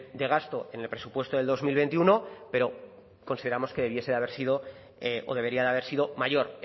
de gasto en el presupuesto del dos mil veintiuno pero consideramos que debiese de haber sido o debería de haber sido mayor